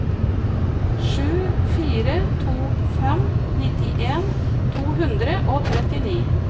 sju fire to fem nittien to hundre og trettini